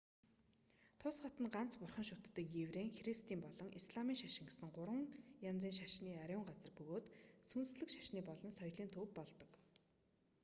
тус хот нь ганц бурхан шүтдэг еврейн христийн болон исламын шашин гэсэн гурван янзын шашны ариун газар бөгөөд сүнслэг шашны болон соёлын төв болдог